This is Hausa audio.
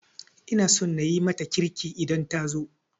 Ina so na yi mata kirki idan ta zo